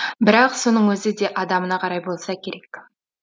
бірақ соның өзі де адамына қарай болса керек